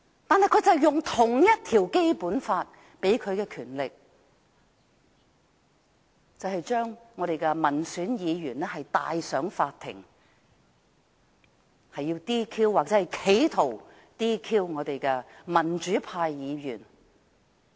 但他們卻引用《基本法》同一項條文賦予的權力，將我們的民選議員帶上法庭，要 "DQ" 或企圖 "DQ" 民主派議員。